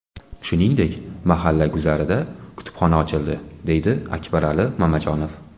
Shuningdek, mahalla guzarida kutubxona ochildi, – deydi Akbarali Mamajonov.